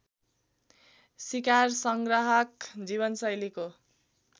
सिकार सङ्ग्राहक जीवनशैलीको